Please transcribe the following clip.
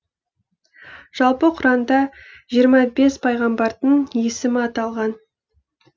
жалпы құранда жиырма бес пайғамбардың есімі аталған